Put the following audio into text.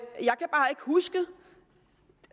huske